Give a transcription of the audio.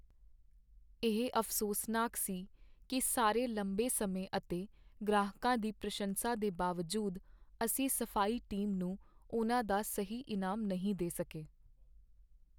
ਇਹ ਅਫ਼ਸੋਸਨਾਕ ਸੀ ਕੀ ਸਾਰੇ ਲੰਬੇ ਸਮੇਂ ਅਤੇ ਗ੍ਰਾਹਕਾਂ ਦੀ ਪ੍ਰਸ਼ੰਸਾ ਦੇ ਬਾਵਜੂਦ, ਅਸੀਂ ਸਫ਼ਾਈ ਟੀਮ ਨੂੰ ਉਨ੍ਹਾਂ ਦਾ ਸਹੀ ਇਨਾਮ ਨਹੀਂ ਦੇ ਸਕੇ।